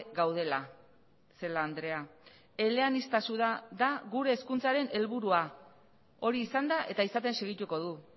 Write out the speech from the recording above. gaudela celaá andrea eleaniztasuna da gure hezkuntzaren helburua hori izan da eta izaten segituko du